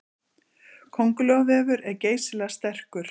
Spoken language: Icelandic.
Köngulóarvefur er geysilega sterkur.